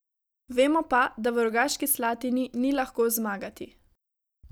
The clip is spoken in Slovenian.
Vemo pa, da v Rogaški Slatini ni lahko zmagati.